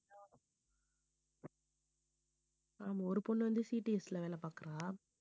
ஆமா ஒரு பொண்ணு வந்து CTS ல வேலை பாக்குறா